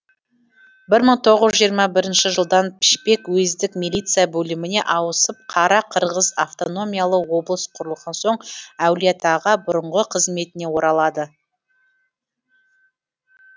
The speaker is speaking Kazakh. бір мың тоғыз жүз жиырма бірінші жылдан пішпек уездік милиция бөліміне ауысып қара қырғыз автономиялы облыс құрылған соң әулиеатаға бұрынғы қызметіне оралады